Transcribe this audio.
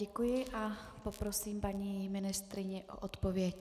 Děkuji a poprosím paní ministryni o odpověď.